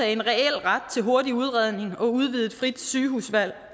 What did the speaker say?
en reel ret til hurtig udredning og udvidet frit sygehusvalg